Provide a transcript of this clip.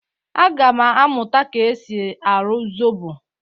Aga m amụta ka e si arụ zobo.